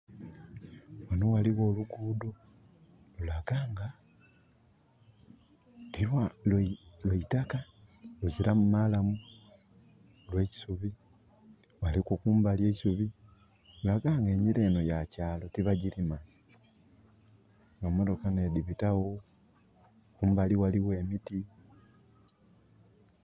Wano waliwo olugudho lulaga nga tilwa...lwa lwa itaka, luziramu malamu, lwa isubi. Waliku kumbali eisubi. Lulaga nga engira eno ya kyalo tibagirima. Emotoka nh'edibitawo, kumbali waliwo emiti